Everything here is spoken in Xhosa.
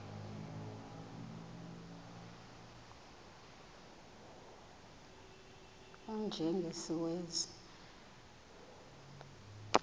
u y njengesiwezi